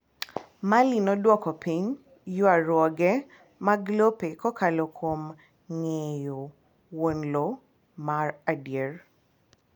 Mali nodwoko piny ywarruoge mag lope kokalo kuom ng'eyo wuon lowo ma adier.